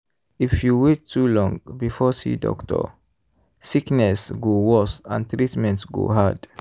if you wait too long before see doctor sickness go worse and treatment go hard.